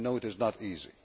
I know it is not easy.